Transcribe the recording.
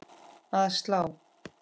Að slá?